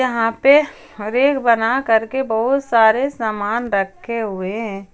यहां पे रेक बना करके बहोत सारे सामान रखे हुए हैं।